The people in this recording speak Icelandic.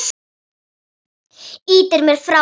Ýtir mér frá þér.